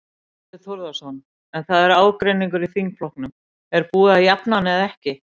Þorbjörn Þórðarson: En það er ágreiningur í þingflokknum, er búið að jafna hann eða ekki?